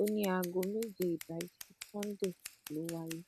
ó ní aago méje ìdájí sannde ló wáyé